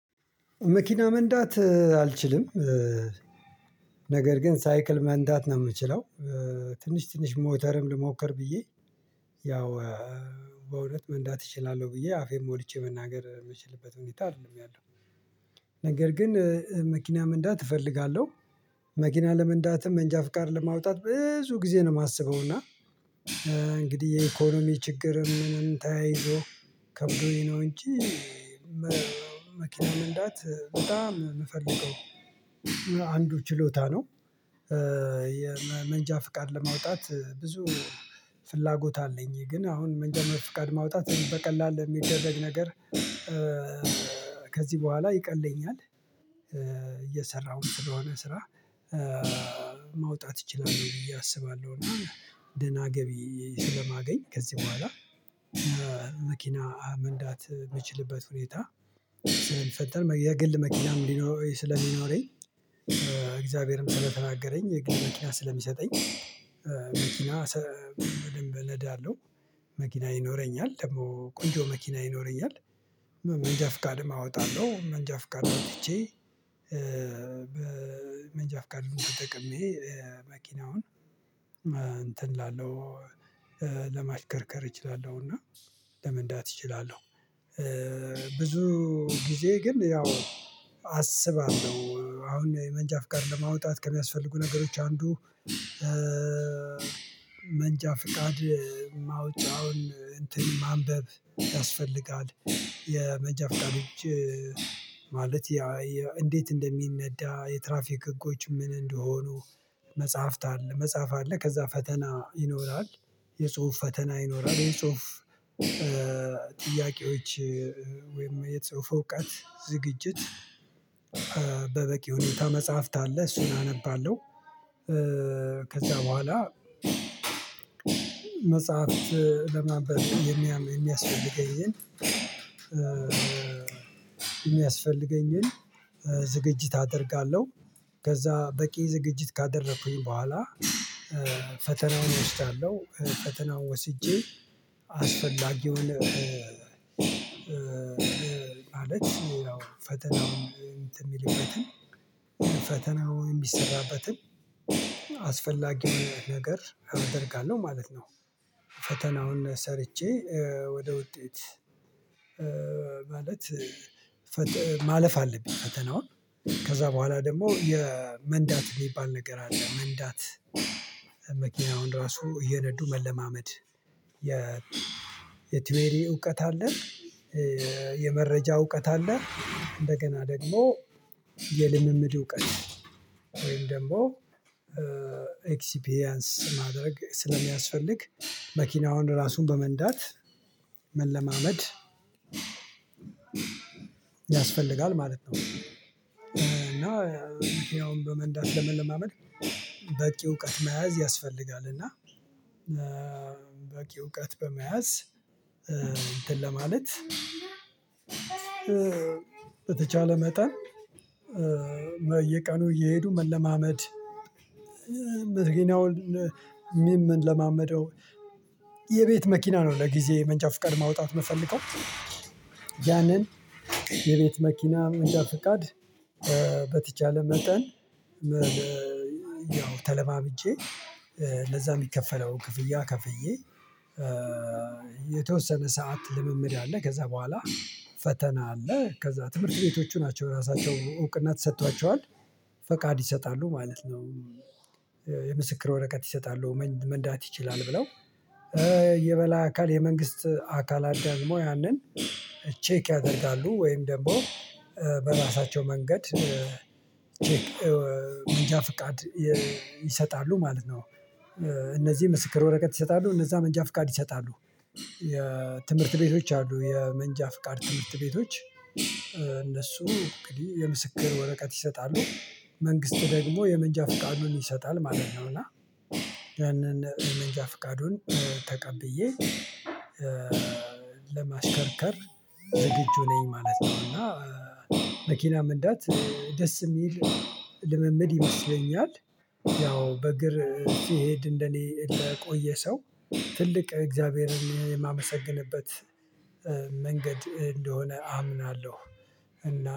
መኪና መንዳት አልችልም። ነገር ግን ሳይክል መንዳት ነው የምችለው። ትንሽ ትንሽ ሞተርም ልሞክር ብዬ ያው በእውነት መንዳት እችላለሁ ብዬ አፌን ሞልቼ መናገር የምችልበት ሁኔታ አይደለም ያለው። ነገር ግን መኪና መንዳት እፈልጋለሁ። መኪና ለመንዳትም መንጃ ፍቃድ ለማውጣት ብዙ ጊዜ ነው የማስበው እና እንግዲህ የኢኮኖሚ ችግር ምንም ተያይዞ ከብዶኝ ነው እንጂ መኪና መንዳት በጣም የምፈልገው አንዱ ችሎታ ነው። የመንጃ ፍቃድ ለማውጣት ብዙ ፍላጎት አለኝ ግን አሁን መንጃ ፍቃድ ማውጣት በቀላሉ የሚደረግ ነገር። ከዚህ በኋላ ይቀለኛል እየሰራሁ ስለሆነ ስራ ማውጣት እችላለሁ ብዬ አስባለሁ። እና ደህና ገቢ ስለማገኝ ከዚህ በኋላ መኪና መንዳት የምችልበት ሁኔታ ስለሚፈጠር የግል መኪና መኪናም ስለሚኖረኝ። እግዚአብሔርም ስለተናገረኝ የግል መኪና ስለሚሰጠኝ መኪና ሰብ ም በደንብ እነዳለሁ። መኪና ይኖረኛል ደግሞ ቆንጆ መኪና ይኖረኛል። መንጃ ፍቃድም አወጣለሁ መንጃ ፍቃድ አዉጥቼ መንጃ ፍቃድ ተጠቅሜ መኪናውን እንትን ላለው ለማሽከርከር እችላለሁና ለመንዳት እችላለሁ። ብዙ ጊዜ ግን ያው አስባለሁ አሁን የመንጃ ፍቃድ ለማውጣት ከሚያስፈልጉ ነገሮች አንዱ መንጃ ፍቃድ ማውጫውን እንትን ማንበብ ያስፈልጋል የመንጃ ፍቃድ እጅ ማለት እንዴት እንደሚነዳ የትራፊክ ህጎች ምን እንደሆኑ መጽሐፍት አለ መጽሐፍ አለ ከዛ ፈተና ይኖራል። የጽሁፍ ፈተና ይኖራል የጽሁፍ ጥያቄዎች ወይም የጽሁፍ እዉቀት ዝግጅት በበቂ ሁኔታ መጽሐፍት አለ እሱን አነባለሁ። ከዛ በኋላ መጽሐፍት ለማንበብ የሚያስፈልገኝን የሚያስፈልገኝን ዝግጅት አደርጋለሁ። ከዛ በቂ ዝግጅት ካደረኩኝ በኋላ ፈተናውን ወስዳለሁ ፈተናውን ወስጄ አስፈላጊውን ማለት ያው ፈተናውን እንትን የሚልበትን ፈተናውን የሚሰራበትን አስፈላጊ ነገር አደርጋለሁ ማለት ነው። ፈተናውን ሰርቼ ወደ ውጤት ማለት ማለፍ አለብኝ። ፈተናዉን ከዛ በኋላ ደግሞ የመንዳት የሚባል ነገር አለ። መንዳት መኪናውን ራሱ እየነዱ መለማመድ የ የትዌሪ እውቀት አለ። የመረጃ እውቀት አለ። እንደገና ደግሞ የልምምድ እውቀት ወይም ደግሞ ኤክሲፒሪያንስ ማድረግ ስለሚያስፈልግ መኪናውን ራሱን በመንዳት መለማመድ ያስፈልጋል ማለት ነው። እና ያውም በመንዳት ለመለማመድ በቂ እውቀት መያዝ ያስፈልጋል። እና በቂ እውቀት በመያዝ እንትን ለማለት በተቻለ መጠን በየቀኑ እየሄዱ መለማመድ። መኪናውን ሚም ለማመደው የቤት መኪና ነው። ለጊዜ መንጃ ፍቀድ ማውጣት የምፈልገው ያንን የቤት መኪና መንጃ ፍቃድ በተቻለ መጠን ያው ተለማምጬ ለዛ የሚከፈለው ክፍያ ከፍዬ የተወሰነ ሰዓት ልምምድ አለ። ከዛ በኋላ ፈተና አለ ከዛ ትምህርት ቤቶቹ ናቸው ራሳቸው እውቅና ተሰጥቷቸዋል ፈቃድ ይሰጣሉ ማለት ነው። የምስክር ወረቀት ይሰጣሉ መንዳት ይችላል ብለው የበላይ አካል የመንግስት አካላት ደግሞ ያንን ቼክ ያደርጋሉ ወይም ደግሞ በራሳቸው መንገድ ቼክ መንጃ ፍቃድ ይሰጣሉ ማለት ነው። እነዚህ ምስክር ወረቀት ይሰጣሉ እነዛ መንጃ ፍቃድ ይሰጣሉ የትምህርት ቤቶች አሉ የመንጃ ፍቃድ ትምህርት ቤቶች እነሱ እንግዲህ የምስክር ወረቀት ይሰጣሉ መንግስት ደግሞ የመንጃ ፍቃዱን ይሰጣል ማለት ነው። እና ያንን የመንጃ ፍቃዱን ተቀብዬ ለማሽከርከር ዝግጁ ነኝ ማለት ነው። እና መኪና መንዳት ደስ የሚል ልምምድ ይመስለኛል ያው በእግር ሲሄድ እንደኔ ለቆየ ሰው ትልቅ እግዚአብሔርን የማመሰግንበት መንገድ እንደሆነ አምናለሁ። እና